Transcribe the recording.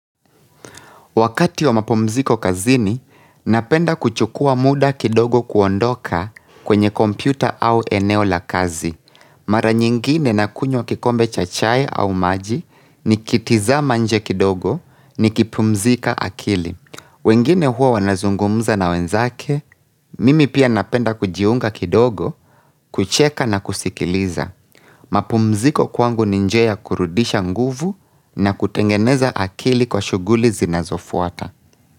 Wakati wa mapumziko kazini, napenda kuchukua muda kidogo kuondoka kwenye kompyuta au eneo la kazi. Mara nyingine nakunywa kikombe cha chai au maji nikitizama nje kidogo nikipumzika akili. Wengine huwa wanazungumza na wenzake, mimi pia napenda kujiunga kidogo, kucheka na kusikiliza. Mapumziko kwangu ni njia ya kurudisha nguvu na kutengeneza akili kwa shuguli zinazofuata.